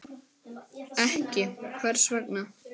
Sindri: Ekki, hvers vegna?